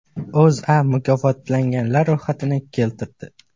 O‘zA mukofotlanganlar ro‘yxatini keltirdi .